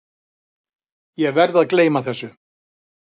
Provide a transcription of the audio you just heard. Ég verð að gleyma þessu.